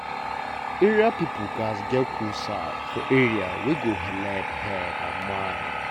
area people gatz get cool side for area wey go helep head and mind.